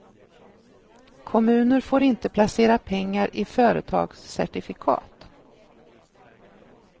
Kommuner får inte placera pengar i företagscertifikat.